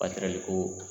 ko